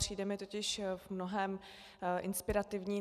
Přijde mi totiž v mnohém inspirativní.